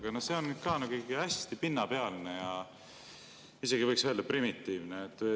Aga see on ka hästi pinnapealne ja isegi võiks öelda primitiivne.